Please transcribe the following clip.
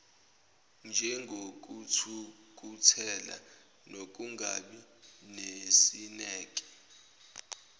njengokuthukuthela nokungabi nesineke